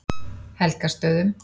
Helgastöðum